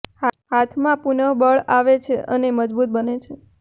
હાથમાં પુનઃ બળ આવે છે અને મજબૂત બને છે